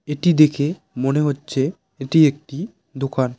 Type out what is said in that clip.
এটি দেখে মনে হচ্ছে এটি একটি দোকান।